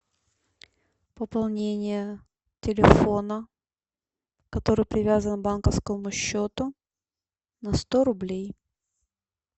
пополнение телефона который привязан к банковскому счету на сто рублей